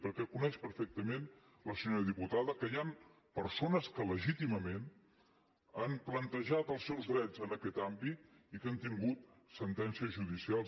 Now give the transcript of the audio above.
perquè coneix perfectament la senyora diputada que hi han persones que legítimament han plantejat els seus drets en aquest àmbit i que han tingut sentències judicials